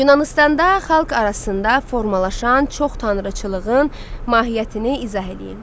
Yunanıstanda xalq arasında formalaşan çox tanrıçılığın mahiyyətini izah eləyin.